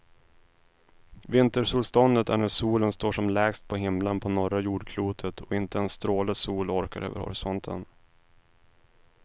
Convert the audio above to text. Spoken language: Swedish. Vintersolståndet är när solen står som lägst på himlen på norra jordklotet och inte en stråle sol orkar över horisonten.